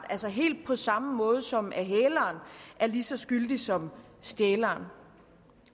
altså helt på samme måde som at hæleren er lige så skyldig som stjæleren